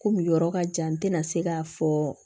Komi yɔrɔ ka jan n tɛna se k'a fɔ